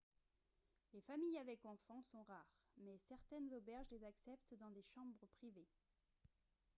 les familles avec enfants sont rares mais certaines auberges les acceptent dans des chambres privées